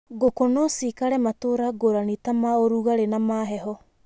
Ngũkũ no ciikare matũra ngũrani ta ma ũrugarĩ na ma heho.